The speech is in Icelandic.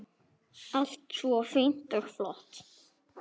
Allt svo fínt og flott.